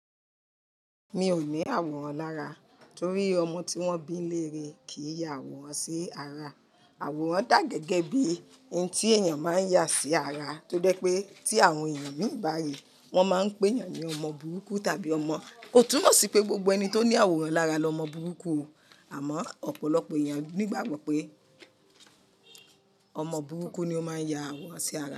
Mi ò ní àwòrán lára torí ọmọ tí wọ́n bí n nileerè kìí ya àwòrán sí ara. Àwòrán dà gẹ́gẹ́ bí i ohun tí èèyàn máa yà sí ara tó dẹ́ pé tí àwọn èèyàn mii bá rii, wọ́n máa n pé èèyàn ní ọmọ burúkú tàbí ọmọ. Kò túnmọ̀ sí pé gbogbo ẹni tó ní àwòrán lára lọmọ burúkú o. Àmọ́ ọ̀pọ̀lọpọ̀ èèyàn ní ìgbàgbọ́ pé ọmọ burúkú ni ó máa ń ya àwòrán sí ara.